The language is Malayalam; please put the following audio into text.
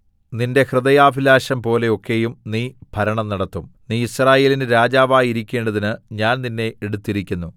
നിന്റെ ഹൃദയാഭിലാഷം പോലെ ഒക്കെയും നീ ഭരണം നടത്തും നീ യിസ്രായേലിന് രാജാവായിരിക്കേണ്ടതിന് ഞാൻ നിന്നെ എടുത്തിരിക്കുന്നു